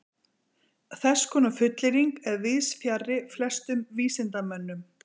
Þess konar fullyrðing er víðs fjarri flestum vísindamönnum.